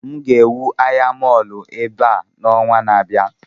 M ga-ewu ahịa mọọlụ ebe a n'ọnwa na-abịa